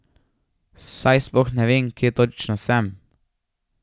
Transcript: Saj sploh ne vem, kje točno sem.